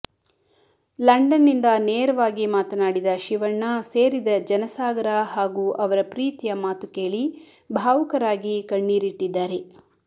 London ನಿಂದ ನೇರವಾಗಿ ಮಾತನಾಡಿದ ಶಿವಣ್ಣ ಸೇರಿದ ಜನ ಸಾಗರ ಹಾಗೂ ಅವರ ಪ್ರೀತಿಯ ಮಾತು ಕೇಳಿ ಭಾವುಕರಾಗಿ ಕಣ್ಣೀರಿಟ್ಟಿದ್ದಾರೆ